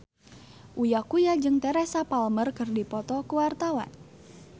Uya Kuya jeung Teresa Palmer keur dipoto ku wartawan